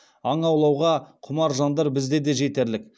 аң аулауға құмар жандар бізде де жетерлік